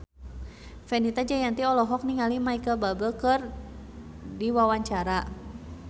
Fenita Jayanti olohok ningali Micheal Bubble keur diwawancara